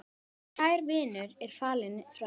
Kær vinur er fallin frá.